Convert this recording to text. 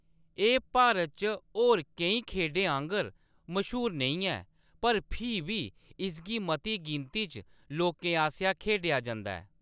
एह्‌‌ भारत च होर केईं खेढें आंह्‌गर मश्हूर नेईं ऐ, पर फ्ही बी इसगी मती गिनती च लोकें आसेआ खेढेआ जंदा ऐ।